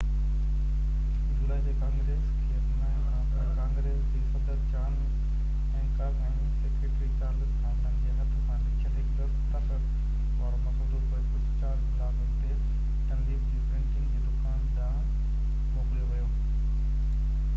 4 جولائي تي ڪانگريس کي اپنائڻ کان پوءِ ڪانگريس جي صدر John Hancock ۽ secretary Charles Thomson جي هٿ سان لکيل هڪ دستخط وارو مسودو پوءِ ڪجهه بلاڪ اڳتي ڊنليپ جي پرنٽنگ جي دڪان ڏانهن موڪليو ويو